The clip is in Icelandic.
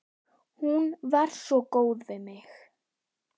Hún var svo góð við mig.